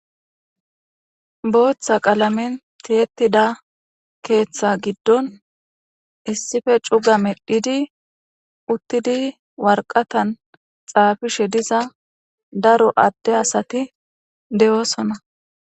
Bootha qalamen tiyetida keetha gidon issipe cuga meedhidi woraqatan xaafishe diza daro adde asati de'osona.